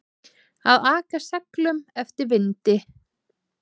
Að aka seglum eftir vindi